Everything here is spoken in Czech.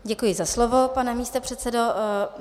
Děkuji za slovo, pane místopředsedo.